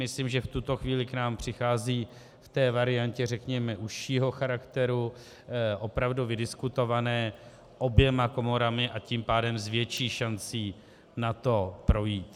Myslím, že v tuto chvíli k nám přichází v té variantě, řekněme, užšího charakteru, opravdu vydiskutované oběma komorami, a tím pádem s větší šancí na to projít.